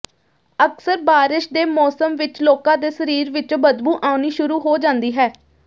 ਅਕਸਰ ਬਾਰਸ਼ ਦੇ ਮੌਸਮ ਵਿਚ ਲੋਕਾਂ ਦੇ ਸਰੀਰ ਵਿਚੋਂ ਬਦਬੂ ਆਉਣੀ ਸ਼ੁਰੂ ਹੋ ਜਾਂਦੀ ਹੈ